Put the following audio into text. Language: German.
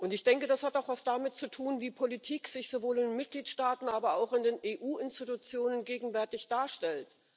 Ich denke, das hat auch etwas damit zu tun, wie Politik sich sowohl in den Mitgliedstaaten, aber auch in den EU Institutionen gegenwärtig darstellt.